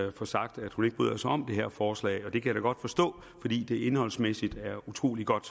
at få sagt at hun ikke bryder sig om det her forslag og det kan jeg da godt forstå fordi det indholdsmæssigt er utrolig godt